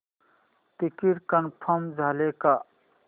ticket confirm झाले का